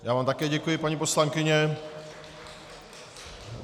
Já vám také děkuji, paní poslankyně.